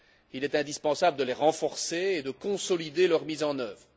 Il est indispensable de les renforcer et de consolider leur mise en œuvre.